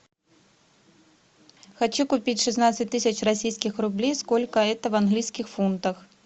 хочу купить шестнадцать тысяч российских рублей сколько это в английских фунтах